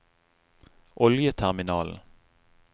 oljeterminalen